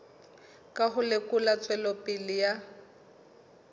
ka ho lekola tswelopele ya